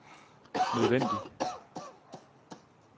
nødvendig